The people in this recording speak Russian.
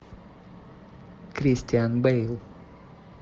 кристиан бэйл